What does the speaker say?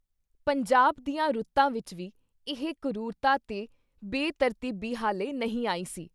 ਪੰਜਾਬ ਦੀਆਂ ਰੁਤਾਂ ਵਿੱਚ ਵੀ ਇਹ ਕਰੂਰਤਾਂ ਤੇ ਬੇ-ਤਰਤੀਬੀ ਹਾਲੇ ਨਹੀਂ ਆਈ ਸੀ I